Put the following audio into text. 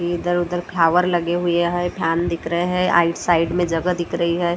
इधर-उधर फ्लावर लगे हुए है फैन दिख रहे हैं आइट साइड में जगह दिख रही है।